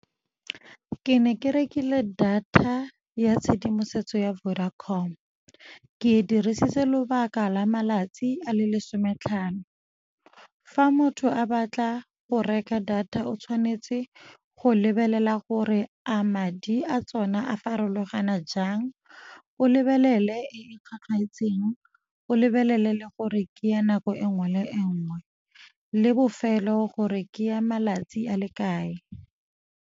Ke ne ke rekile data ya tshedimosetso ya Vodacom, ke e dirisitse lobaka la malatsi a le lesome tlhano. Fa motho a batla go reka data o tshwanetse go lebelela gore a madi a tsona a farologana jang, o lebelele e e tlhwatlhwaetseng, o lebelele le gore ke ya nako e nngwe le nngwe le bofelo gore ke ya malatsi a le kae.